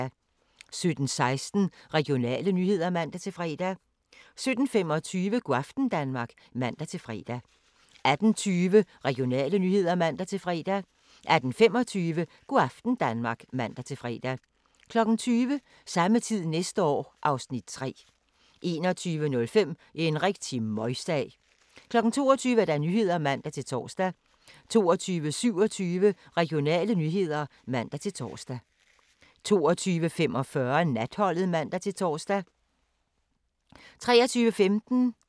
17:16: Regionale nyheder (man-fre) 17:25: Go' aften Danmark (man-fre) 18:20: Regionale nyheder (man-fre) 18:25: Go' aften Danmark (man-fre) 20:00: Samme tid næste år (Afs. 3) 21:05: En rigtig møgsag 22:00: Nyhederne (man-tor) 22:27: Regionale nyheder (man-tor) 22:45: Natholdet (man-tor) 23:15: TV 2 Listen (man-tor)